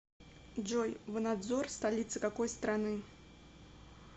джой ванадзор столица какой страны